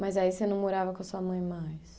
Mas aí você não morava com a sua mãe mais?